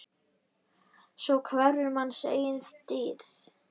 Svo hverfur manns eigin dýrð.